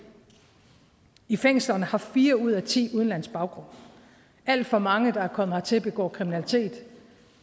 i fængslerne har fire ud af ti udenlandsk baggrund alt for mange der er kommet hertil begår kriminalitet